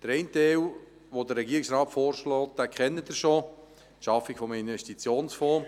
Den einen Teil, den der Regierungsrat vorschlägt, kennen Sie bereits, nämlich die Schaffung des Investitionsfonds.